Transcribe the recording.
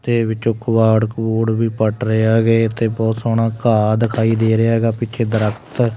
ਤੇ ਵਿਚੋਂ ਕਿਵਾੜ ਕੁਵੂੜ ਵੀ ਪੱਟ ਰਹੇ ਹੈਗੇ ਤੇ ਬੋਹੁਤ ਸੋਹਣਾ ਘਾਹ ਦਿਖਾਈ ਦੇ ਰਿਹਾ ਹੈਗਾ ਪਿੱਛੇ ਦ੍ਰਖਤ।